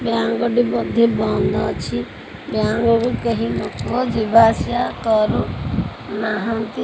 Bank ଟି ବୋଧେ ବନ୍ଦ ଅଛି ବ୍ଯାଙ୍କ କୁ କେହି ଲୋକ କରୁ ନାହାଁନ୍ତି।